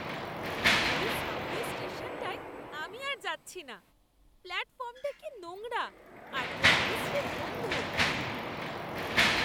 ওই সাবওয়ে স্টেশনটায় আমি আর যাচ্ছি না। প্ল্যাটফর্মটা কি নোংরা, আর কি বিশ্রী গন্ধ!